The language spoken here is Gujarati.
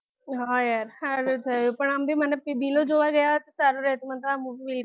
હા યાર સારું થયું પણ આમ બી મને દિલો જોવા ગયા હતા સારું રહ્યું હતું મન તો આ મુવી